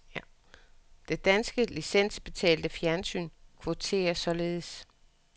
Det danske licensbetalte fjernsyn kvoterer således.